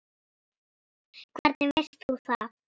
Hvernig veist þú það?